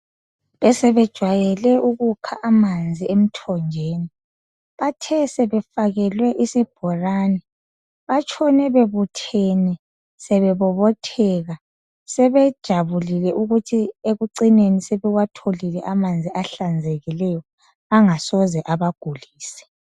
Besebejwayele ukukha amanzi emthonjeni. Bathe sebefakelwe isibhorani, batshone bebuthene sebebobotheka, sebejabulile ukuthi ekucineni sebewatholile amanzi ahlanzekileyo, angasoze abagulise.